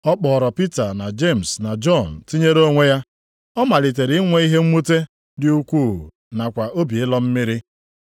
Ọ kpọọrọ Pita, na Jemis na Jọn tinyere onwe ya. Ọ malitere inwe ihe mwute dị ukwuu nakwa obi ịlọ mmiri.